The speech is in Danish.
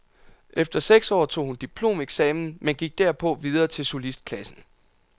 Efter seks år tog hun diplomeksamen, men gik derpå videre til solistklassen.